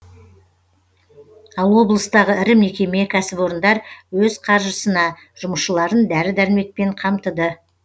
ал облыстағы ірі мекеме кәсіпорындар өз қаржысына жұмысшыларын дәрі дәрмекпен қамтыды